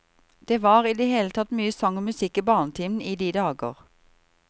Det var i det hele tatt mye sang og musikk i barnetimen i de dager.